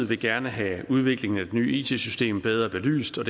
vil gerne have udviklingen af det nye it system bedre belyst og